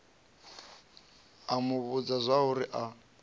a mu vhudza zwauri a